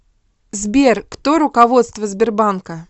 сбер кто руководство сбербанка